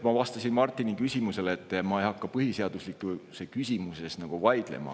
Ma vastasin Martini küsimusele, et ma ei hakka põhiseaduslikkuse küsimuses vaidlema.